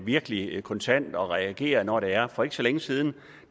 virkelig kontant og reagerer når det er for ikke så længe siden